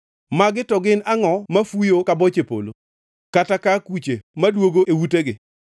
Magi to gin angʼo mafuyo ka boche polo, kata ka akuche maduogo e utegi?